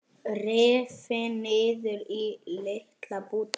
Rifin niður í litla bita.